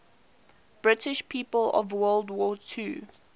british people of world war ii